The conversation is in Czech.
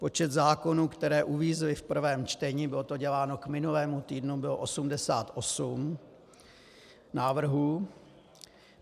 Počet zákonů, které uvízly v prvém čtení, bylo to děláno k minulému týdnu, bylo 88 návrhů.